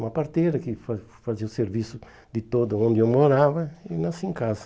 Uma parteira que fa fazia o serviço de todo onde eu morava e nasci em casa.